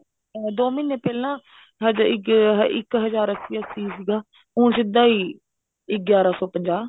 ਦੋ ਮਹੀਨੇ ਪਹਿਲਾਂ ਹਜੇ ਇੱਕ ਹਜ਼ਾਰ ਇੱਕ ਹਜ਼ਾਰ ਅੱਸੀ ਅੱਸੀ ਸੀਗਾ ਹੁਣ ਸਿੱਧਾ ਹੀ ਗਿਆਰਾਂ ਸੋ ਪੰਜਾਹ